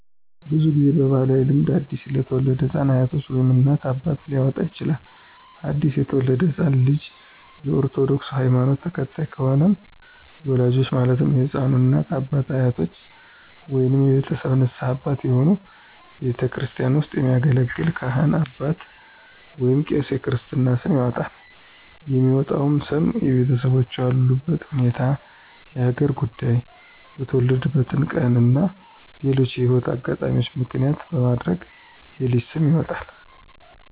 ብዙ ጊዜ በባህላዊ ልምድ አዲስ ለተወለደ ህፃን አያቶች ወይም እናት፣ አባት ሊያወጣ ይችላል። አዲስ የተወለደው ህፃን ልጅ የ ኦርቶዶክስ ሀይማኖት ተከታይ ከሆነም የወላጆቹ ማለትም የህፃኑ እናት፣ አባት፣ አያቶች ወይንም የቤተሰብ ንስሀ አባት የሆኑ ቤተክርስቲያን ውስጥ የሚያገለግል ካህን አባት ወይንም ቄስ የክርስትና ስም ያወጣል። የሚወጣውም ስም የቤተሰቦቹን ያሉበት ሁኔታ፣ የሀገር ጉዳይ፣ የተወለደበትን ቀን እና ሌሎችንም የህይወት አጋጣሚዎች ምክንያት በማድረግ የልጅ ስም ይወጣል።